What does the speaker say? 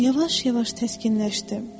Amma yavaş-yavaş təskinləşdim.